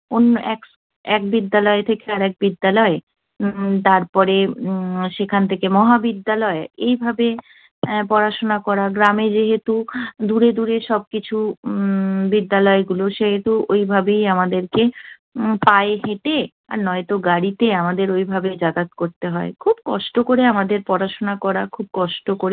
দূরে দূরে সবকিছু উম বিদ্যালয়গুলো, সেহেতু ওইভাবেই আমাদেরকে উম পায়ে হেঁটে আর নয়তো গাড়িতে আমাদের ওইভাবে যাতায়াতে করতে হয়। খুব কষ্ট করে আমাদের পড়াশোনা করা খুব কষ্ট করে